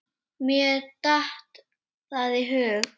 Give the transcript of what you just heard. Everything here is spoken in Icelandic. Mér datt það í hug.